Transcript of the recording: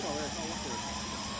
Qaç, qaç, qaç, qaç.